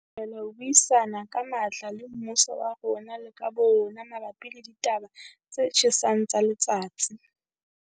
Re thabela ho buisana ka matla le mmuso wa rona le ka bo rona mabapi le ditaba tse tjhesang tsa letsatsi.